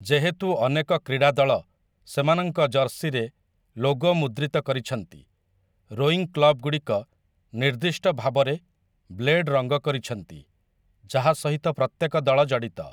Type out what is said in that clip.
ଯେହେତୁ ଅନେକ କ୍ରୀଡ଼ା ଦଳ ସେମାନଙ୍କ ଜର୍ସିରେ ଲୋଗୋ ମୁଦ୍ରିତ କରିଛନ୍ତି, ରୋଇଂ କ୍ଲବ୍‌‌ଗୁଡ଼ିକ ନିର୍ଦ୍ଦିଷ୍ଟ ଭାବରେ ବ୍ଲେଡ୍ ରଙ୍ଗ କରିଛନ୍ତି ଯାହା ସହିତ ପ୍ରତ୍ୟେକ ଦଳ ଜଡ଼ିତ ।